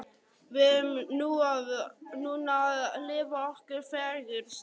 Við erum núna að lifa okkar fegursta.